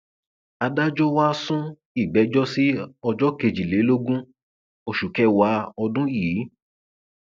adájọ wa á sún ìgbẹjọ sí ọjọ kejìlélógún oṣù kẹwàá ọdún yìí